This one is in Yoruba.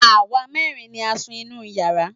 Àwa mẹ́rin ni à ń sun inú yàrá